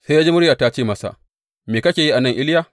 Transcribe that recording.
Sai ya ji murya ta ce masa, Me kake yi a nan, Iliya?